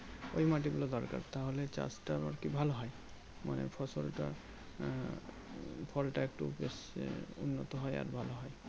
ওই মাটি গুলো দরকার তাহলে চাষটাও আরকি ভালো হয় আহ ফসলটা আহ ফলটা একটু বেশ উন্নত হয় আর ভালো হয়